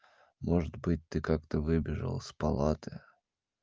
может быть ты как-то выбежал из палаты